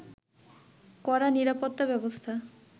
কড়া নিরাপত্তা ব্যবস্থা